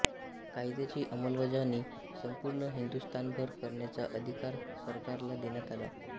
कायद्याची अंमलबजावणी संपूर्ण हिंदुस्थानभर करण्याचा अधिकार सरकारला देण्यात आला